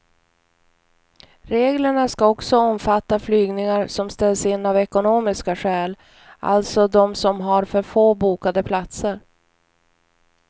Reglerna ska också omfatta flygningar som ställs in av ekonomiska skäl, alltså de som har för få bokade platser.